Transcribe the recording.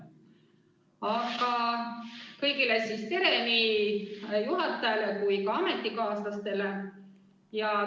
Aga veel kord: tere kõigile, nii juhatajale kui ka ametikaaslastele!